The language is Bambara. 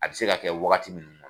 A bɛ se ka kɛ wagati min